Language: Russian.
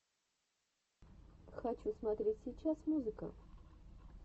хочу смотреть сейчас музыка